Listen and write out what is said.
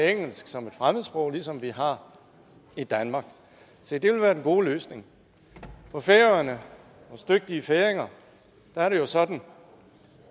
engelsk som et fremmedsprog ligesom vi har i danmark se det vil være den gode løsning på færøerne hos dygtige færinger er det jo sådan